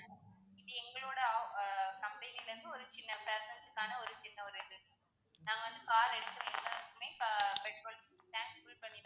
இது எங்களோட ஆஹ் company ல இருந்து ஒரு சின்ன present க்கான ஒரு சின்ன ஒரு இது நாங்க வந்து car எடுக்குற எல்லாருக்குமே ஆஹ் petrol tank full பண்ணி தான் குடுப்போம்.